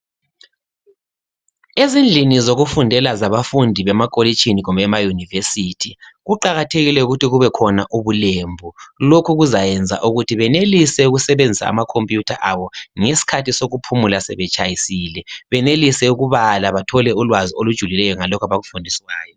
ezidlini zokufundela zabafundi bemapolishini kumbe ema univesithi kuqakathekile ukuthi kubekhona ubulembu lokho kuzayenza ukuthi benelise ukusebenzisa amakhomputha abo ngesikhathi sokuphumula sebetshayisile benelise ukubala bathole ulwazi ngalokho abakufundiswayo